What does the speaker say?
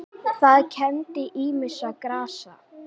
Það kenndi ýmissa grasa